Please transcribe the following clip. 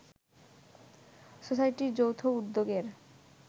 সোসাইটির যৌথ উদ্যোগের